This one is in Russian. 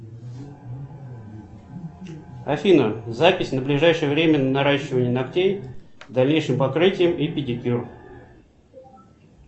афина запись на ближайшее время на наращивание ногтей с дальнейшим покрытием и педикюр